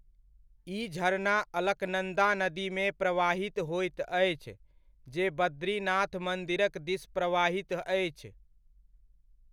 ई झरना अलकनन्दा नदीमे प्रवाहित होइत अछि, जे बद्रीनाथ मन्दिरक दिस प्रवाहित अछि।